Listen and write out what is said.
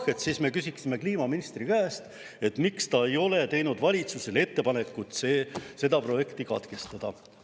Kui jah, siis me küsime kliimaministri käest, miks ta ei ole teinud valitsusele ettepanekut see projekt katkestada.